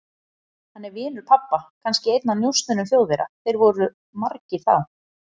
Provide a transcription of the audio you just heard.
Hann er vinur pabba, kannski einn af njósnurum Þjóðverja, þeir voru margir þá.